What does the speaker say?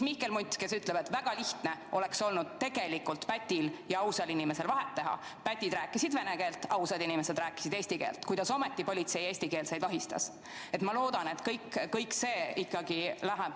" Mihkel Mutt omakorda ütles, et väga lihtne oleks tegelikult olnud vahet teha pätil ja ausal inimesel – pätid rääkisid vene keelt, ausad inimesed rääkisid eesti keelt –, kuidas ometi politsei eestikeelseid vahistas.